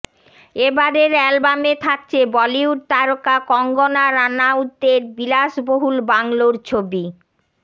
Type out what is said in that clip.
এবারের অ্যালবামে থাকছে বলিউড তারকা কঙ্গনা রানাউতের বিলাসবহুল বাংলোর ছবি